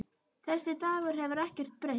Þessi Dagur hefur ekkert breyst.